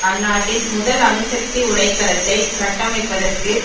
அந்நாட்டின் முதல் அணுசக்தி உலைக்களத்தை கட்டமைப்பதற்கு